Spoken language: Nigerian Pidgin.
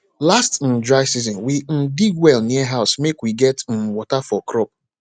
last um dry season we um dig well near house make we get um water for crop